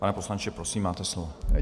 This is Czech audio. Pane poslanče, prosím, máte slovo.